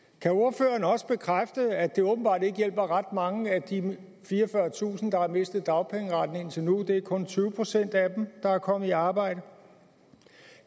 kan ordføreren også bekræfte at det åbenbart ikke hjælper ret mange af de fireogfyrretusind der har mistet dagpengeretten indtil nu det er kun tyve procent af dem der er kommet i arbejde